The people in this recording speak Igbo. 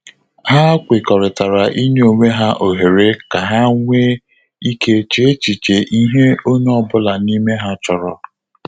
Ha kwekọrịtara inye onwe ha ohere ka ha nwe ike che echiche ihe onye ọ bụla n'ime ha chọrọ